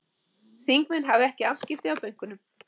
Þingmenn hafi ekki afskipti af bönkunum